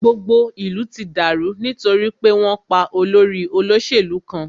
Gbogbo ìlú ti dàrú nítorí pé wọn pá olórí olóṣèlú kan.